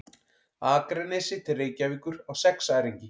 Akranesi til Reykjavíkur á sexæringi.